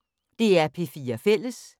DR P4 Fælles